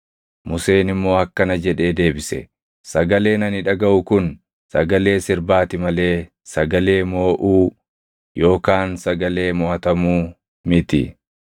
Museen immoo akkana jedhee deebise: “Sagaleen ani dhagaʼu kun sagalee sirbaati malee sagalee mooʼuu, yookaan sagalee moʼatamuu miti.”